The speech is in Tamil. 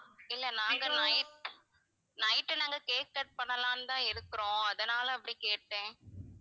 இல்ல நாங்க night night நாங்க cake cut பண்ணலான்னு தான் இருக்கிறோம் அதனால தான் அப்படி கேட்டேன்.